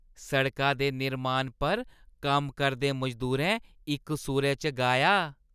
सड़का दे निर्माण पर कम्म करदे मजदूरें इक सुरै च गाया।